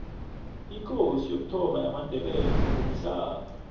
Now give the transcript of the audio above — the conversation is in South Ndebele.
ikosi yokuthoma yamandebele ngumhlanga